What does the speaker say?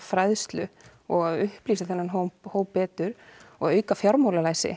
fræðslu og upplýsa þennan hóp hóp betur og auka fjármálalæsi